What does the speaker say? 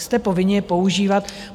Jste povinni je používat.